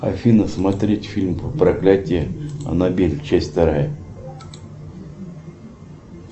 афина смотреть фильм проклятие анабель часть вторая